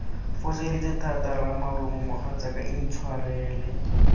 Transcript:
foseditse thata ramarumo mogatsaka intshwarele